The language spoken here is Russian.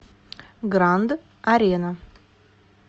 гранд арена